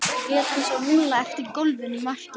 lét hann svo rúlla eftir gólfinu í markið.